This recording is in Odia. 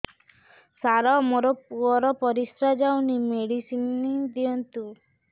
ସାର ମୋର ପୁଅର ପରିସ୍ରା ଯାଉନି ମେଡିସିନ ଦିଅନ୍ତୁ